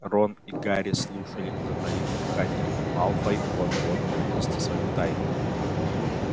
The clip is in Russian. рон и гарри слушали затаив дыхание малфой вот-вот выдаст свою тайну